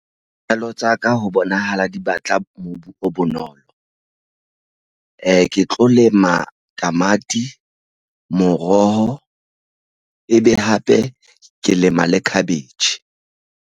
Pelo Tsaka ho bonahala di batla mobu o bonolo. Ke tlo lema tamati moroho ebe hape ke lema le cabbage.